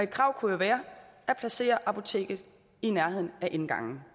krav kunne jo være at placere apoteket i nærheden af indgangen